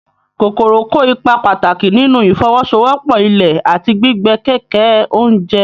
Kòkòrò kó ipa pàtàkì nínú ìfọwọ́sowọ́pọ̀ ilẹ̀ àti gbígbé kẹ̀kẹ́ oúnjẹ.